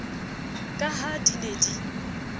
ka ha di ne di